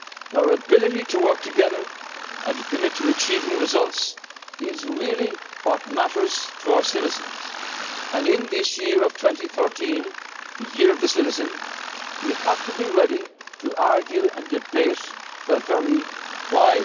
do likewise. Our ability to work together and to commit to achieving results is really what matters to our citizens. In this year of 2013, the year of the citizen, we have to be ready to argue and debate